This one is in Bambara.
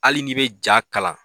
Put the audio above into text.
Hali n'i bɛ ja kalan